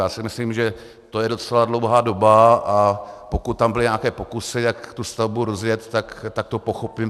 Já si myslím, že to je docela dlouhá doba, a pokud tam byly nějaké pokusy, jak tu stavbu rozjet, tak to pochopím.